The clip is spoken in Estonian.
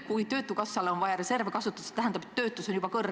Kui töötukassal on vaja reserve kasutada, siis see tähendab, et töötus on juba suur.